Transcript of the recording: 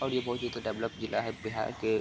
और ये बहुत ही एक डेवलप जिला है बिहार के --